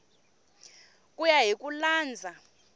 ku ya hi ku landza